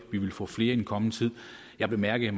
vi vil få flere i den kommende tid jeg bemærkede